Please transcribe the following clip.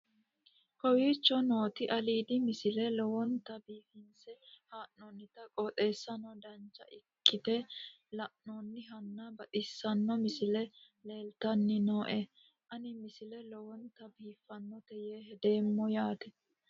kowicho nooti aliidi misile lowonta biifinse haa'noonniti qooxeessano dancha ikkite la'annohano baxissanno misile leeltanni nooe ini misile lowonta biifffinnote yee hedeemmo yaate